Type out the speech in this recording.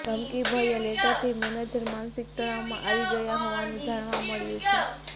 ધમકીભર્યા લેટરથી મેનેજર માનસિક તણાવમાં આવી ગયા હોવાનું જાણવા મળ્યું છે